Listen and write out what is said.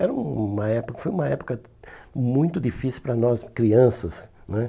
Era uma época, foi uma época muito difícil para nós, crianças, né?